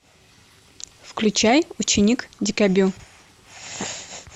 включай ученик дюкобю